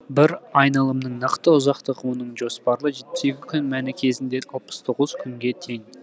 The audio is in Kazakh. бір айналымның нақты ұзақтығы оның жоспарлы жетпіс екі күн мәні кезінде алпыс тоғыз күнге тең